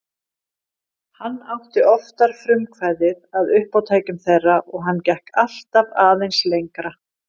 Hann átti oftar frumkvæðið að uppátækjum þeirra og hann gekk alltaf aðeins lengra.